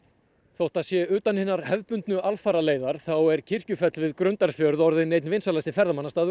þótt það sé utan hinnar hefðbundnu alfaraleiðar er Kirkjufell við Grundarfjörð orðinn einn af vinsælustu ferðamannastöðum